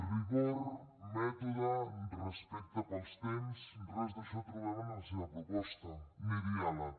rigor mètode respecte pels temps res d’això trobem en la seva proposta ni diàleg